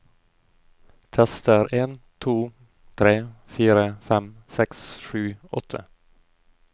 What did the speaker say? Tester en to tre fire fem seks sju åtte